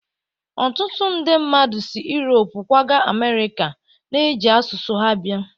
Ọtụtụ nde mmadụ si Europe kwaga Amerịka, na-eji asụsụ ha abịa